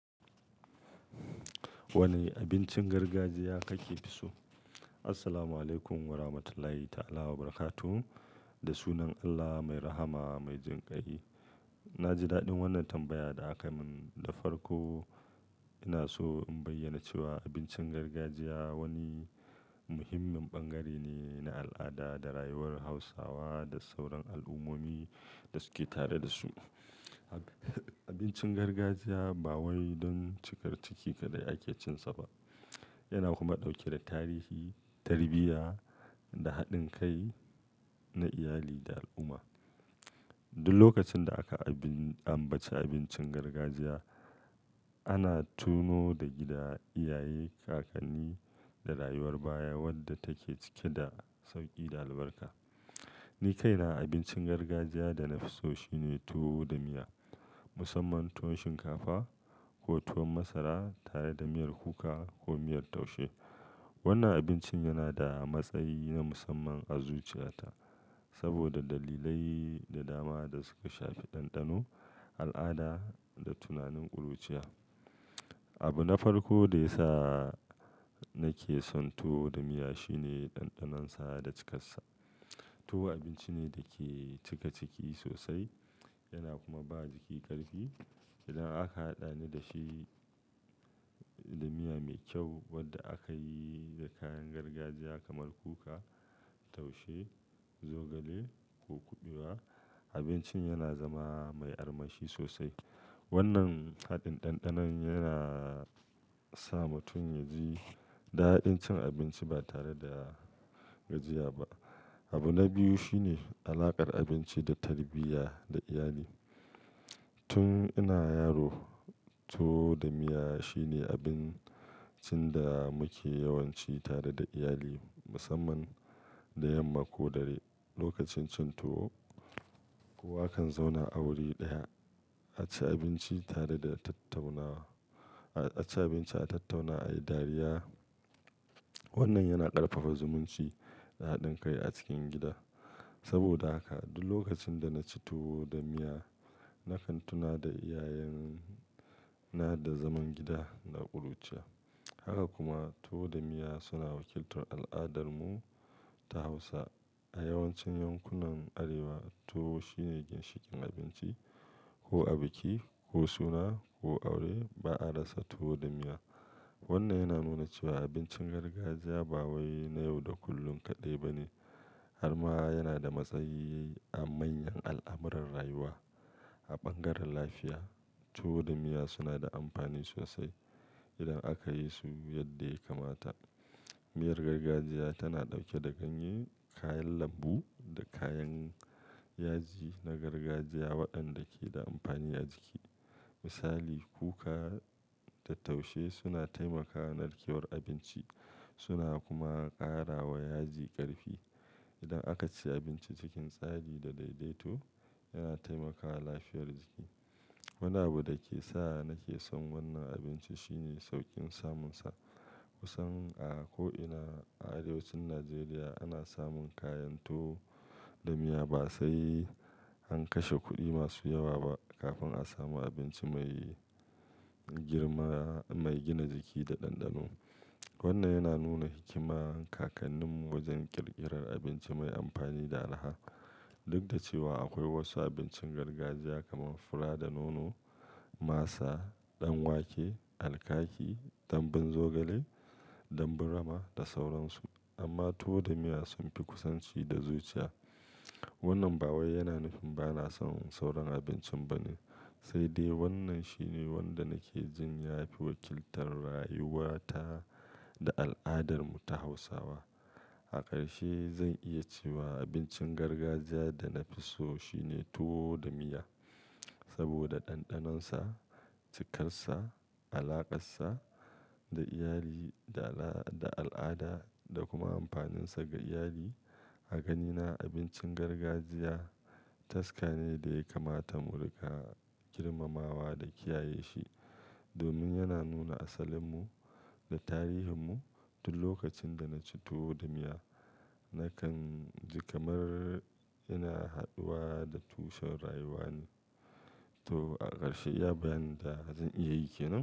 Wane abincin gargajiya kake so? Assalamualaikum warahmatullahi ta'ala wabarakatuh, da sunan Allah mai rahama mai jinƙai. Na ji daɗin wannan tambaya da aka mun da farko. Ina so in bayyana cewa abincin gargajiya wani muhimmin bangare ne na al'ada da rayuwar Hausawa da sauran al'ummomi da suke tare da su. Abincin gargajiya ba wai don cikar ciki kaɗai ake cin sa ba, yana kuma ɗauke da tarihi, tarbiyya, da haɗin kai na iyali da al'umma. Duk lokacin da aka ambaci abincin gargajiya, ana tuno da gida, iyaye, kakanni, da rayuwar baya wadda take cike da sauƙi da albarka. Ni kaina abincin gargajiya da na fi so shine tuwo da miya, musamman tuwo shinkafa ko tuwo masara tare da miyar kuka ko miyar taushe. Wannan abincin yana da matsayi na musamman a zuciyata saboda dalilai da dama da suka shafi ɗanɗano, al'ada, da tunanin ƙuruciya. Abu na farko da ya sa nake son tuwo da miya shine ɗanɗanonsa da cikarsa. Tuwo abinci ne da ke cika ciki sosai yana kuma ba jiki ƙarfi. Idan aka haɗa ni da shi da miya mai kyau wadda aka yi da kayan gargajiya kamar kuka, taushe, zogale, ko kuɓewa, abincin yana zama mai armashi sosai. Wannan haɗin ɗanɗanon yana sa mutum ya ji daɗin cin abinci ba tare da gajiya ba. Abu na biyu shine alaƙar abinci da tarbiyya da iyali. Tun ina yaro, tuwo da miya shine abincin da muke yawanci tare da iyali musamman da yamma ko dare. Lokacin cin tuwo, kowa kan zauna a wuri ɗaya a ci abinci tare da tattaunawa, a ci abinci, a tattauna, a yi dariya. Wannan yana ƙarfafa zumunci da haɗin kai a cikin gida. Saboda haka duk lokacin da na ci tuwo da miya, na kan tuna da iyayena da zaman gida da ƙuruciya. Haka kuma tuwo da miya suna wakiltar al'adarmu ta Hausa. A yawancin yankunan Arewa tuwo shine ginshiƙin abinci ko a biki ko suna ko aure ba a rasa tuwo da miya. Wannan yana nuna cewa abincin gargajiya ba wai na yau da kullum kaɗai ba ne har ma yana da matsayi a manyan al'amuran rayuwa. A bangaren lafiya tuwo da miya suna da amfani sosai idan aka yi su yadda ya kamata. Miyar gargajiya tana ɗauke da ganye, kayan lambu, da kayan yaji na gargajiya waɗanda ke da amfani a jiki. Misali kuka da taushe suna taimakawa narkewar abinci suna kuma ƙara wa yaji ƙarfi. Idan aka ci abinci cikin tsari da daidaito yana taimakawa lafiyar jiki. Wani abu da ke sa nake son wannan abinci shine sauƙin samunsa. Kusan a ko'ina a arewacin Najeriya ana samun kayan tuwo da miya ba sai an kashe kuɗi masu yawa ba kafin a samu abinci mai girma mai gina jiki da ɗanɗano. Wannan yana nuna hikiman kakanninmu wajen ƙirƙirar abinci mai amfani da alha. Duk da cewa akwai wasu abincin gargajiya kamar fura da nono, masa, ɗan wake, alkaki, dambun zogale, dambun rama, da sauransu amma tuwo da miya sun fi kusanci da zuciya. Wannan ba wai yana nufin ba na son sauran abincin ba ne, sai dai wannan shine wanda nake jin ya fi wakiltar rayuwata da al'adarmu ta Hausawa. A ƙarshe zan iya cewa abincin gargajiya da na fi so shine tuwo da miya saboda ɗanɗanonsa, cikarsa, alaƙarsa da iyali da al'ada da kuma amfaninsa ga iyali. A ganina abincin gargajiya taska ne da ya kamata mu riƙa girmamawa da kiyaye shi domin yana nuna asalinmu da tarihinmu. Duk lokacin da na ci tuwo da miya na kan ji kamar ina haɗuwa da tushen rayuwani. To a ƙarshe iya bayyana zan iya yi kenan?